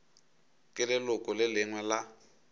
ke leloko le lengwe la